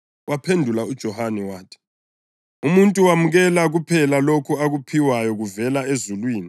Waphendula uJohane wathi, “Umuntu wamukela kuphela lokho akuphiwayo kuvela ezulwini.